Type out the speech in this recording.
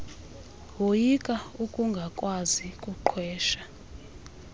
woyika ukungakwazi kuqhwesha